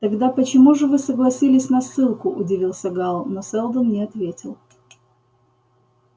тогда почему же вы согласились на ссылку удивился гаал но сэлдон не ответил